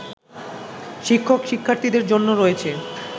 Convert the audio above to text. শিক্ষক-শিক্ষার্থীদের জন্য রয়েছে